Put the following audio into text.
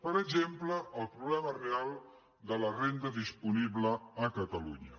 per exemple el problema real de la renda disponible a catalunya